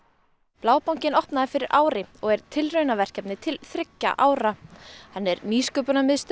Blábankinn var opnaður fyrir ári og er tilraunaverkefni til þriggja ára hann er nýsköpunarmiðstöð